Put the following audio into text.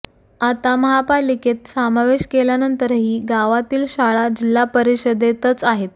आता महापालिकेत समावेश केल्यानंतरही गावातील शाळा जिल्हा परिषदेतच आहेत